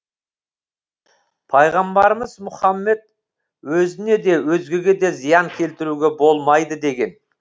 пайғамбарымыз мұхаммед өзіне де өзгеге де зиян келтіруге болмайды деген